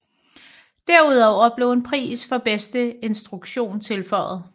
Derudover blev en pris for bedste instruktion tilføjet